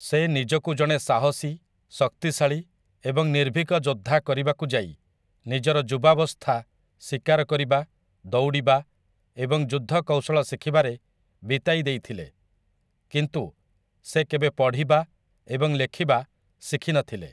ସେ ନିଜକୁ ଜଣେ ସାହସୀ, ଶକ୍ତିଶାଳୀ ଏବଂ ନିର୍ଭୀକ ଯୋଦ୍ଧା କରିବାକୁ ଯାଇ ନିଜର ଯୁବାବସ୍ଥା ଶିକାର କରିବା, ଦୌଡ଼ିବା ଏବଂ ଯୁଦ୍ଧକୌଶଳ ଶିଖିବାରେ ବିତାଇଦେଇଥିଲେ, କିନ୍ତୁ ସେ କେବେ ପଢ଼ିବା ଏବଂ ଲେଖିବା ଶିଖିନଥିଲେ ।